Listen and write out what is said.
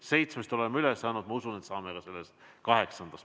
Seitsmest oleme üle saanud, ma usun, et saame ka kaheksandast.